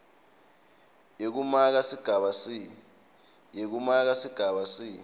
yekumaka sigaba c